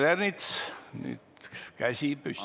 Peeter Ernitsal on käsi püsti.